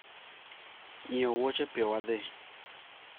nyiew woche piyo wadhi